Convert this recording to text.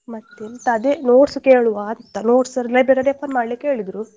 ಮತ್ತೆಂತ ಅದೇ notes ಕೇಳುವ ಅಂತ notes library ಯಲ್ಲಿ refer ಮಾಡ್ಲಿಕ್ಕೆ ಹೇಳಿದ್ರು.